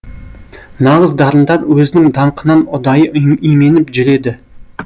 нағыз дарындар өзінің даңқынан ұдайы именіп жүреді